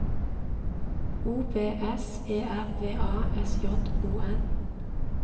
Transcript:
O B S E R V A S J O N